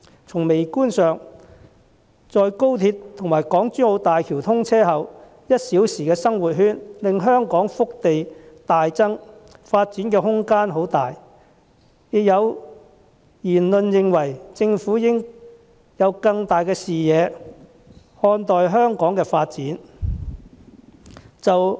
從微觀上看，在廣深港高速鐵路和港珠澳大橋通車後，"一小時生活圈"令香港腹地大增，發展空間很大，亦有言論認為政府應以更宏大的視野看待香港發展。